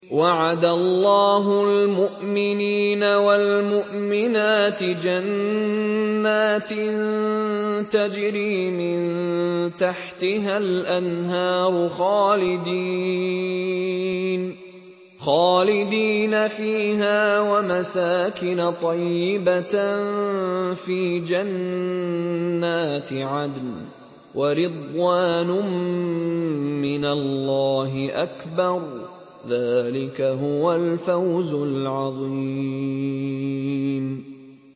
وَعَدَ اللَّهُ الْمُؤْمِنِينَ وَالْمُؤْمِنَاتِ جَنَّاتٍ تَجْرِي مِن تَحْتِهَا الْأَنْهَارُ خَالِدِينَ فِيهَا وَمَسَاكِنَ طَيِّبَةً فِي جَنَّاتِ عَدْنٍ ۚ وَرِضْوَانٌ مِّنَ اللَّهِ أَكْبَرُ ۚ ذَٰلِكَ هُوَ الْفَوْزُ الْعَظِيمُ